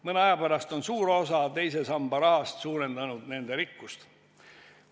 Mõne aja pärast on suur osa teise samba rahast suurendanud nende rikkust.